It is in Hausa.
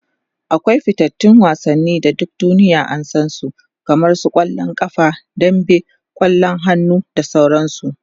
akwai fitattun wasanni da duk duniya an San su kamar kwallon ƙafa dambe, kwallon hannu da sauransu